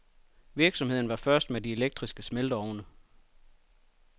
Virksomheden var først med de elektriske smelteovne.